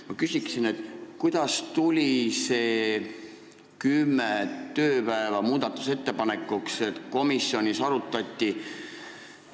Ma küsin, kuidas tuli see kümme tööpäeva muudatusettepanekuteks, mis komisjonis otsustati.